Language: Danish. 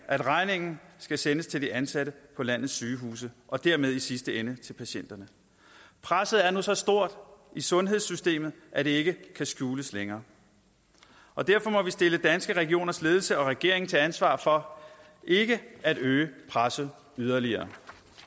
at regningen skal sendes til de ansatte på landets sygehuse og dermed i sidste ende til patienterne presset er nu så stort i sundhedssystemet at det ikke kan skjules længere og derfor må danske regioners ledelse og regeringen tage et ansvar for ikke at øge presset yderligere